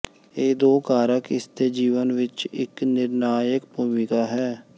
ਇਹ ਦੋ ਕਾਰਕ ਇਸ ਦੇ ਜੀਵਨ ਵਿੱਚ ਇੱਕ ਨਿਰਣਾਇਕ ਭੂਮਿਕਾ ਹੈ